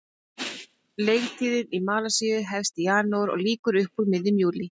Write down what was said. Leiktíðin í Malasíu hefst í janúar og lýkur upp úr miðjum júlí.